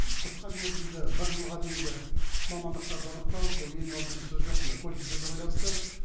қысқа мерзімді бір жылға дейінгі мамандықтарды анықтау ол ең алдымен сөз жоқ мынау колледждерге байланысты